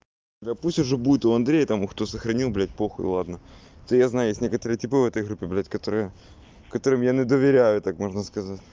да пусть уже будет у андрея тому кто сохранил блядь похуй ладно то я знаю есть некоторые типы в этой группе блять которая которым я не доверяю так можно сказать